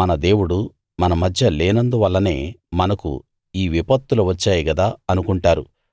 మన దేవుడు మన మధ్య లేనందువల్లనే మనకు ఈ విపత్తులు వచ్చాయి గదా అనుకుంటారు